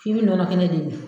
F'i bi nɔnɔ kɛnɛ de min.